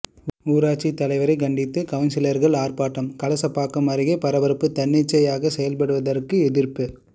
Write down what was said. ஊராட்சி தலைவரை கண்டித்து கவுன்சிலர்கள் ஆர்ப்பாட்டம் கலசபாக்கம் அருகே பரபரப்பு தன்னிச்சையாக செயல்படுவதற்கு எதிர்ப்பு